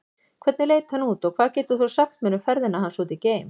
Hvernig leit hann út og hvað getur þú sagt mér um ferðina hans út geim?